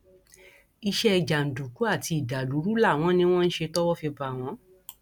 iṣẹ jàǹdùkú àti ìdàlúrú làwọn ni wọn ń ṣe tọwọ fi bá wọn